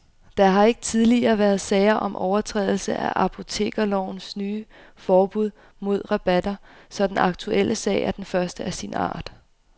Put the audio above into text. Der har ikke tidligere været sager om overtrædelse af apotekerlovens nye forbud mod rabatter, så den aktuelle sag er den første af sin art.